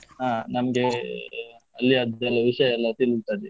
ಹಾ ನಮ್ಗೆ ಅಲ್ಲಿಯದ್ದೆಲ್ಲಾ ವಿಷಯ ಎಲ್ಲಾ ತಿಳಿತದೆ.